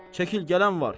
Çəkil, gələn var.